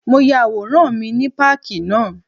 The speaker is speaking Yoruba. Mo ya àwòrán mi ní páàkì náà.